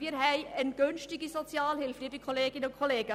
Wir haben eine günstige Sozialhilfe, liebe Kolleginnen und Kollegen.